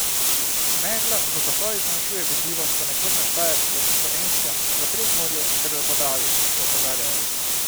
Megla v pasovih zmanjšuje vidljivost ponekod na Štajerskem, Dolenjskem, v Prekmurju ter v Podravju, še opozarjajo.